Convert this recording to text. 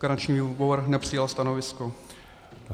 Garanční výbor nepřijal stanovisko.